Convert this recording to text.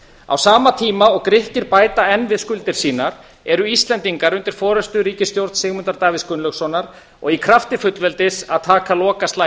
á sama tíma og grikkir bæta enn við skuldir sínar eru íslendingar undir forustu ríkisstjórnar sigmundar davíðs gunnlaugssonar og í krafti fullveldis að taka